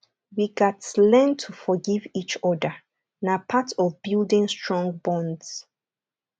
we gats learn to forgive each other na part of building strong bonds